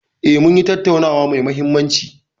E, munyi tattaunawa mai mahimmanci.